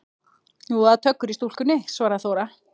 Jú, það er töggur í stúlkunni, svaraði Þóra.